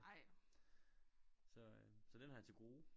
Så øh så den har jeg til gode